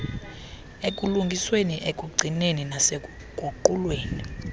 ekulungisweni ekugcinweni nasekuguqulweni